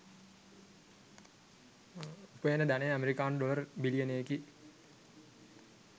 උපයන ධනය ඇමරිකානු ඩොලර් බිලියනකි